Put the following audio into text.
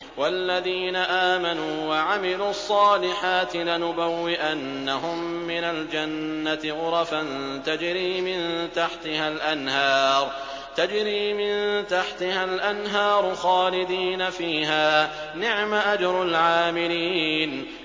وَالَّذِينَ آمَنُوا وَعَمِلُوا الصَّالِحَاتِ لَنُبَوِّئَنَّهُم مِّنَ الْجَنَّةِ غُرَفًا تَجْرِي مِن تَحْتِهَا الْأَنْهَارُ خَالِدِينَ فِيهَا ۚ نِعْمَ أَجْرُ الْعَامِلِينَ